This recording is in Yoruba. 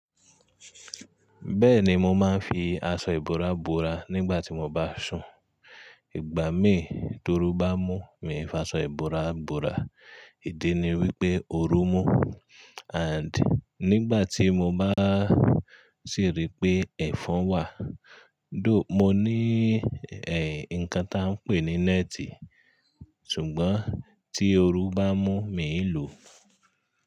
Bẹ́ẹ̀ni mo máa ń fi aṣọ ìbora bora nígbà tí mo bá sùn. Ìgbà míì, torú bá mú mi fa aṣọ ìbora bora. Ìdí ni wípé ó rú mú and nígbà tí mo bá sì rí pé ẹ̀fọn wà, dó-- mo ní ẹ́ nǹkan tí a ń pè ní nẹ́tì. Ṣùgbọ́n tí oru bá mú mi n lò.